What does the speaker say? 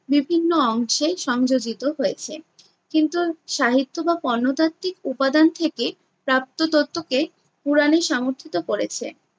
বিভিন্ন অংশে সংযোজিত হয়েছে। কিন্তু সাহিত্য বা প্রত্নতাত্ত্বিক উপাদান থেকে প্রাপ্ত তত্ত্বকে পূরণই সামর্থিত করেছে।